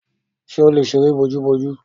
Ṣè ó lè sẹ̀rẹ̀ bọ̀jù bọ̀jù?